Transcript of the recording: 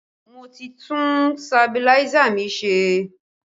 Mo ti tún sabiláísà mi ṣe